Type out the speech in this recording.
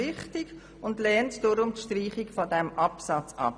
Darum lehnen einige von uns die Streichung dieses Absatzes ab.